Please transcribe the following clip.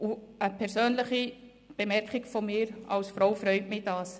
Noch eine persönliche Bemerkung: Als Frau freut mich das.